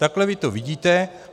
Takhle vy to vidíte.